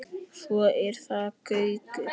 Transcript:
Svo er það Gaukur.